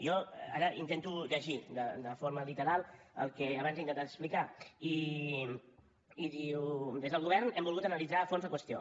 jo ara intento llegir de forma literal el que abans he intentat explicar i diu des del govern hem volgut analitzar a fons la qüestió